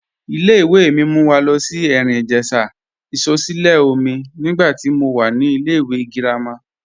Ìlẹ̀-ìwé̀ mi mú wà lo sí Erin-Ijesha isọ̀sílẹ̀ọ̀mí nígbà tí mó wà ní ìlẹ̀-ìwé̀ gírámà.